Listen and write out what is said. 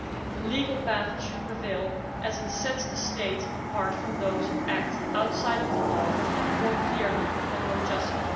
The legal path should prevail, as it sets the state apart from those who act outside of the law more clearly and more justly.